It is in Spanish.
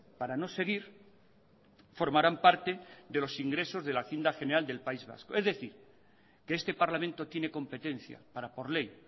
para no seguir formarán parte de los ingresos de la haciendo general del país vasco es decir que este parlamento tiene competencia para por ley